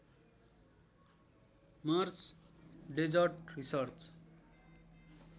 Mars desert research